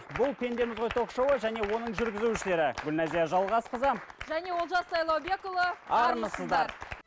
бұл пендеміз ғой ток шоуы және оның жүргізушілері гүлназия жалғасқызы және олжас сайлаубекұлы армысыздар